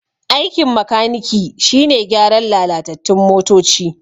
Aikin makaniki shine gyaran lalatattun motoci